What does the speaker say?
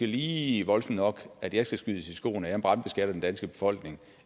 lige voldsomt nok at jeg skal skydes i skoene at jeg brandbeskatter den danske befolkning